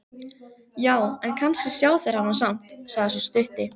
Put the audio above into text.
Já, en kannski sjá þeir hana samt, sagði sá stutti.